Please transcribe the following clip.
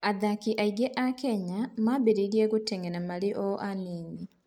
Athaki aingĩ a Kenya mambĩrĩria gũteng'era marĩ o anini.